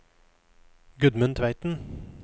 Gudmund Tveiten